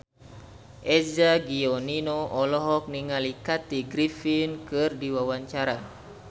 Eza Gionino olohok ningali Kathy Griffin keur diwawancara